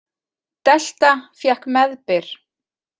Delta fékk meðbyr